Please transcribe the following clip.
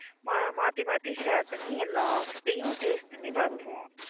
மாத்தி மாத்தி share பண்ணி எல்லாத்தையும் taste பண்ணி பாத்துருவோம்